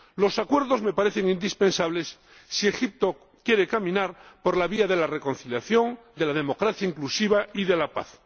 Los acuerdos me parecen indispensables si Egipto quiere caminar por la vía de la reconciliación, de la democracia inclusiva y de la paz.